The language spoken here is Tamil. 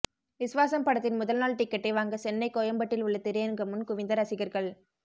விஸ்வாசம் படத்தின் முதல் நாள் டிக்கெட்டை வாங்க சென்னை கோயம்பேட்டில் உள்ள திரையரங்கு முன் குவிந்த ரசிகர்கள்